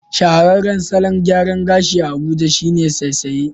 Shahararran salon gyaran gashi a Abuja shine saisaye